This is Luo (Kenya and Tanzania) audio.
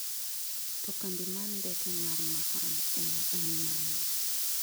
To kambi mar ndeke mar Mahan air en mane?